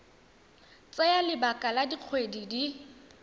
tsaya lebaka la dikgwedi di